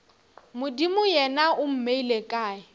modimo yena o mmeile kae